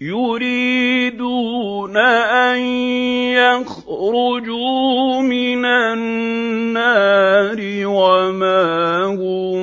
يُرِيدُونَ أَن يَخْرُجُوا مِنَ النَّارِ وَمَا هُم